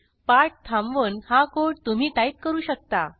पाठ थांबवून हा कोड तुम्ही टाईप करू शकता